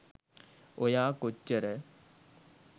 ඔයා කොච්චර